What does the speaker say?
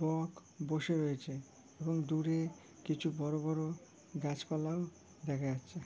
বক বসে রয়েছে এবং দূরে কিছু বড়ো বড়ো গাছপালাও দেখা যাচ্ছে।